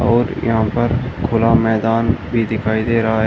और यहां पर खुला मैदान भी दिखाई दे रहा है।